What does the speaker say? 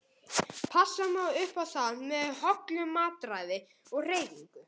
Passa má upp á það með hollu mataræði og hreyfingu.